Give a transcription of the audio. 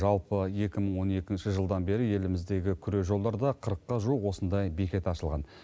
жалпы екі мың он екінші жылдан бері еліміздегі күре жолдарда қырыққа жуық осындай бекет ашылған